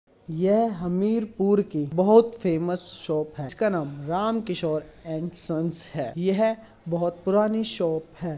वह हमीरपुर की बोहोत फेमस शॉप है जिसका नाम रामकिशोर एंड संस है। यह बोहोत पुरानी शॉप है।